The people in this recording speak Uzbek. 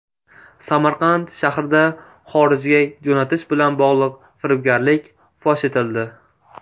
Samarqand shahrida xorijga jo‘natish bilan bog‘liq firibgarlik fosh etildi.